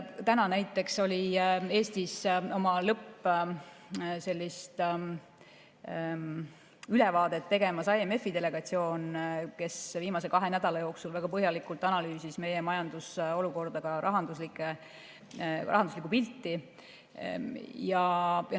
Täna näiteks oli Eestis oma lõppülevaadet tegemas IMF-i delegatsioon, kes viimase kahe nädala jooksul väga põhjalikult analüüsis meie majandusolukorda, ka rahanduslikku pilti.